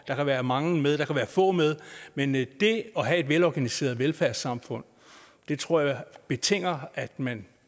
der kan være mange med der kan være få med men men det at have et velorganiseret velfærdssamfund tror jeg betinger at man